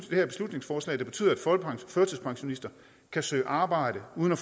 her beslutningsforslag der betyder at førtidspensionister kan søge arbejde uden at